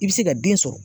I bɛ se ka den sɔrɔ